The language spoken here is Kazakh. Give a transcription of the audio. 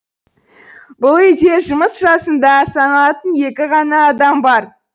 бұл үйде жұмыс жасында саналатын екі ғана адам бар